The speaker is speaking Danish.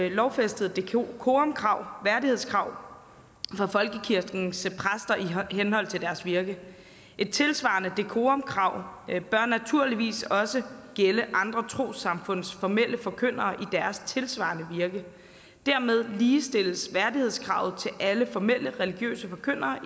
ikkelovfæstet decorumkrav værdighedskrav for folkekirkens præster i henhold til deres virke et tilsvarende decorumkrav bør naturligvis også gælde andre trossamfunds formelle forkyndere i deres tilsvarende virke dermed ligestilles værdighedskravet til alle formelle religiøse forkyndere